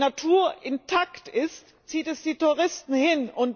Denn dort, wo die Natur intakt ist, zieht es die Touristen hin.